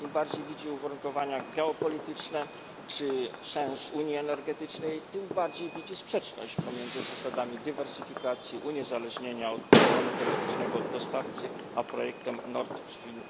Im bardziej przygląda się uwarunkowaniom geopolitycznym czy sensowi unii energetycznej, tym bardziej widzi sprzeczność pomiędzy zasadami dywersyfikacji i uniezależnieniem od monopolistycznego dostawcy a projektem Nord Stream